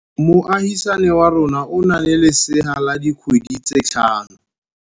Moagisane wa rona o na le lesea la dikgwedi tse tlhano.